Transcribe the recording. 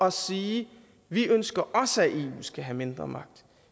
at sige vi ønsker også at skal have mindre magt